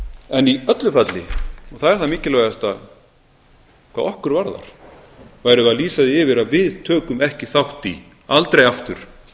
en í öllu falli og það er það mikilvægasta hvað okkur varðar værum við að lýsa því yfir að við tökum ekki þátt í aldrei aftur